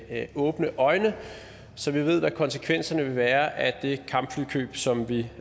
med åbne øjne så vi ved hvad konsekvenserne vil være af det kampflykøb som vi